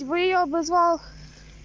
и вы её обозвал